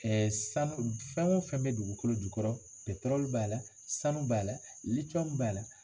Ɛɛ sanu fɛn o fɛn bɛ dugukolo jukɔrɔ b'a la sanu b'a la litiyɔmu b'a la